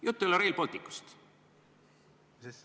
" Jutt ei ole Rail Balticust.